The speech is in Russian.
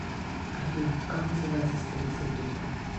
афина как называется столица египта